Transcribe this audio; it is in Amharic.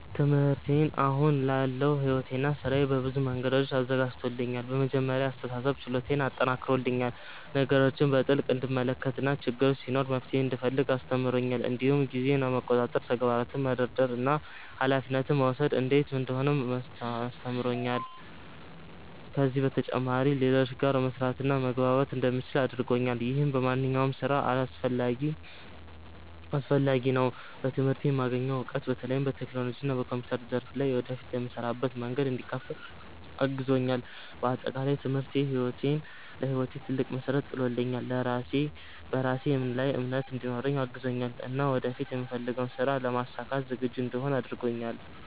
ትምህርቴ አሁን ላለው ሕይወቴና ሥራዬ በብዙ መንገዶች አዘጋጅቶኛል። በመጀመሪያ የአስተሳሰብ ችሎታዬን አጠናክሮልኛል፤ ነገሮችን በጥልቅ እንድመለከት እና ችግር ሲኖር መፍትሄ እንድፈልግ አስተምሮኛል። እንዲሁም ጊዜን መቆጣጠር፣ ተግባራትን መደርደር እና ኃላፊነት መውሰድ እንዴት እንደሆነ አስተምሮኛል። ከዚህ በተጨማሪ ከሌሎች ጋር መስራትና መግባባት እንደምችል አድርጎኛል፣ ይህም በማንኛውም ሥራ አስፈላጊ ነው። በትምህርቴ የማገኘው እውቀት በተለይም በቴክኖሎጂና በኮምፒውተር ዘርፍ ላይ ወደፊት ለምሰራበት መንገድ እንዲከፍት አግዞኛል። በአጠቃላይ ትምህርቴ ለሕይወቴ ትልቅ መሠረት ጥሎልኛል፤ በራሴ ላይ እምነት እንዲኖረኝ አግዞኛል እና ወደፊት የምፈልገውን ሥራ ለማሳካት ዝግጁ እንድሆን አድርጎኛል።